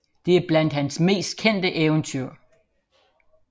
Det er blandt hans mest kendte eventyr